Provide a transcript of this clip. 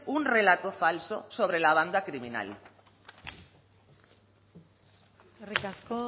un relato falso sobre la banda criminal eskerrik asko